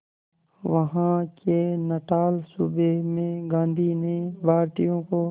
वहां के नटाल सूबे में गांधी ने भारतीयों को